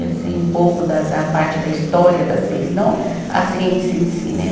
E assim, um pouco da da parte da história da ciência, não a ciência em si, né?